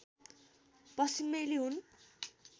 पश्चिमेली हुन्